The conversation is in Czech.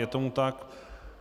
Je tomu tak.